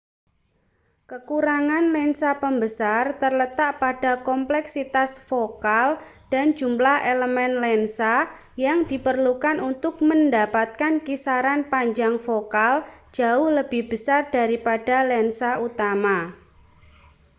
kekurangan lensa pembesar terletak pada kompleksitas fokal dan jumlah elemen lensa yang diperlukan untuk mendapatkan kisaran panjang fokal jauh lebih besar daripada lensa utama